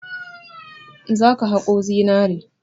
Za ka haƙo zinare!